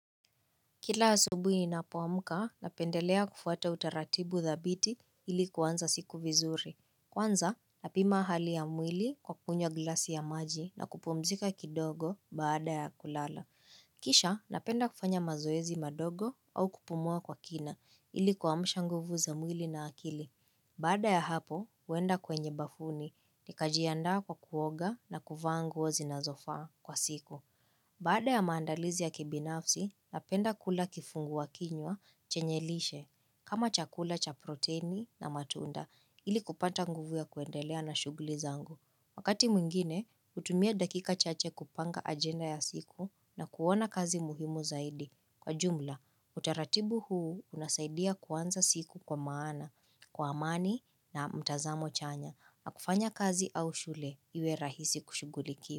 Kila asubui ninapomka, napendelea kufuata utaratibu dhabiti ili kuanza siku vizuri. Kwanza, napima hali ya mwili kwa kunywa glasi ya maji na kupumzika kidogo baada ya kulala. Kisha, napenda kufanya mazoezi madogo au kupumua kwa kina ili kuamsha nguvu za mwili na akili. Baada ya hapo, huenda kwenye bafuni nikajiandaa kwa kuoga na kuvaa nguo zinazofaa kwa siku. Baada ya maandalizi ya kibinafsi, napenda kula kifunguwa kinywa chenye lishe kama chakula cha proteini na matunda ili kupata nguvu ya kuendelea na shuguli zangu. Wakati mwingine, hutumia dakika chache kupanga agenda ya siku na kuona kazi muhimu zaidi. Kwa jumla, utaratibu huu unasaidia kuanza siku kwa maana, kwa amani na mtazamo chanya na kufanya kazi au shule iwe rahisi kushugulikia.